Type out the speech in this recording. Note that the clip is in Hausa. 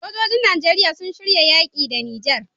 Sojojin nigeria sun shirya yaki da niger